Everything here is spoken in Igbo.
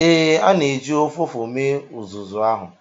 Ee, a na-eji ụfụfụ mee uzuzu ahụ.